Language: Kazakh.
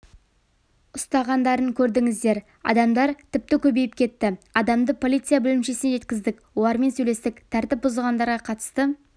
ұстағандарын көрдіңіздер адамдар тіпті көбейіп кетті адамды полиция бөлімшесіне жеткіздік олармен сөйлестік тәртіп бұзғандарға қатысты